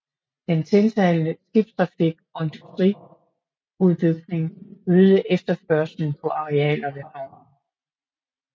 Den tiltagende skibstrafik og industriudbygning øgede efterspørgslen på arealer ved havnen